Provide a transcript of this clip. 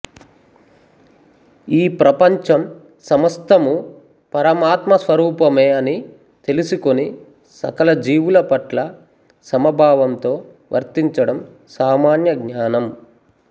ఈ ప్రపంచం సమస్తమూ పరమాత్మ స్వరూపమే అని తెలిసికొని సకల జీవులపట్ల సమభావంతో వర్తించడం సామాన్య జ్ఞానం